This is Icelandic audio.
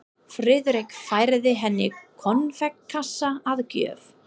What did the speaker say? Friðrik færði henni konfektkassa að gjöf.